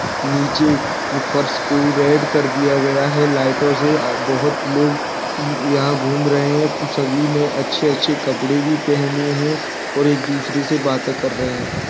नीचे फर्श को रेड कर दिया गया है लाइटाे से और बोहत लोग यहां घूम रहे हैं सभी ने अच्छे-अच्छे कपड़े भी पहने हैं और एक दूसरे से बातें कर रहे हैं।